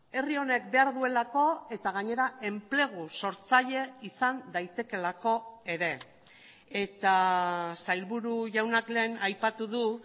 herri honek behar duelako eta gainera enplegu sortzaile izan daitekeelako ere eta sailburu jaunak lehen aipatu du